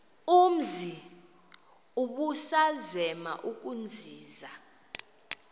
umzi ubusazema ukuzinza